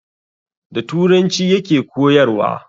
Da turanci ya ke koyarwa